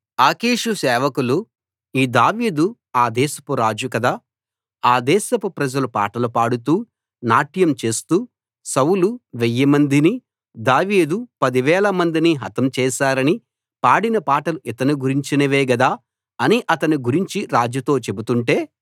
ఆకీషు సేవకులు ఈ దావీదు ఆ దేశపు రాజు కదా ఆ దేశపు ప్రజలు పాటలు పాడుతూ నాట్యం చేస్తూ సౌలు వెయ్యిమందిని దావీదు పదివేల మందిని హతం చేసారని పాడిన పాటలు ఇతని గురించినవే గదా అని అతని గురించి రాజుతో చెబుతుంటే